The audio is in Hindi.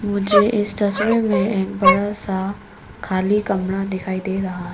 मुझे इस तस्वीर में एक बड़ा सा खाली कमरा दिखाई दे रहा--